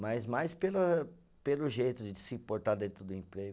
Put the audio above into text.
Mas mais pela, pelo jeito de se portar dentro do emprego.